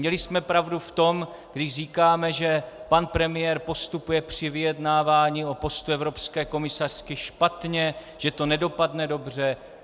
Měli jsme pravdu v tom, když říkáme, že pan premiér postupuje při vyjednávání o postu evropské komisařky špatně, že to nedopadne dobře.